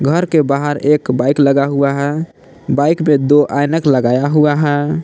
घर के बाहर एक बाइक लगा हुआ है बाइक में दो ऐनक लगाया हुआ है।